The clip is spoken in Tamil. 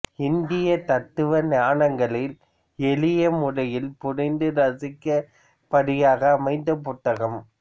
இந்திய தத்துவ ஞானங்களை எளிய முறையில் புரிந்து ரசிக்கும் படியாக அமைந்த புத்தகம்